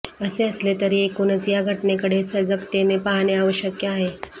असे असले तरी एकूणच या घटनेकडे सजगतेने पाहणे आवश्यक आहे